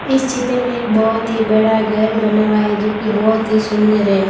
इस चित्र में एक बहोत ही बड़ा घर बना हुआ है जोकि बहोत ही सुंदर है।